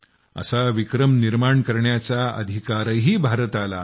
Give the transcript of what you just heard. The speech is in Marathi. असा विक्रम निर्माण करण्याचा अधिकारही भारताला आहे